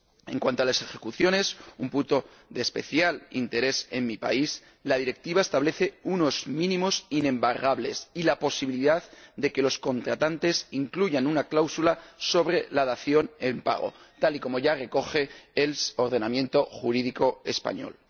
En cuanto a las ejecuciones —un punto de especial interés en mi país—, la Directiva establece unos mínimos inembargables y la posibilidad de que los contratantes incluyan una cláusula sobre la dación en pago, tal y como ya recoge el ordenamiento jurídico español.